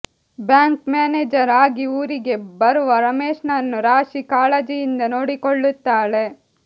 bank manager ಆಗಿ ಊರಿಗೆ ಬರುವ ರಮೇಶನನ್ನು ರಾಶಿ ಕಾಳಜಿಯಿಂದ ನೋಡಿಕೊಳ್ಳುತ್ತಾಳೆ